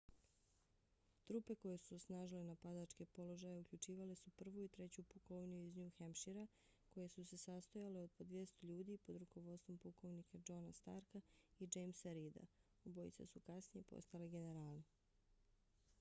trupe koje su osnažile napadačke položaje uključivale su 1. i 3. pukovniju iz new hampshira koje su se sastojale od po 200 ljudi pod rukovodstvom pukovnika johna starka i jamesa reeda obojica su kasnije postali generali